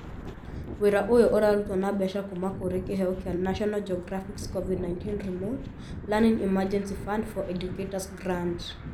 Wĩra ũyũ ũrarutwo na mbeca kuuma kũrĩ kĩheo kĩa National Geographic's covid 19 remote learning emergency fund for educators grant